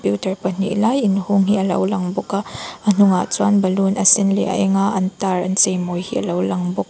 pahnih lai inhawng hi alo lang bawk a a hnungah chuan balloon a sen leh a enga an tar an chei mawi hi alo lang bawk--